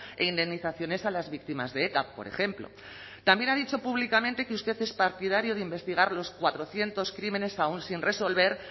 e indemnizaciones a las víctimas de eta por ejemplo también ha dicho públicamente que usted es partidario de investigar los cuatrocientos crímenes aún sin resolver